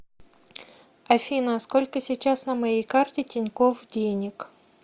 афина сколько сейчас на моей карте тинькофф денег